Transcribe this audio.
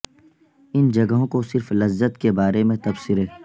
ان جگہوں کو صرف لذت کے بارے میں تبصرے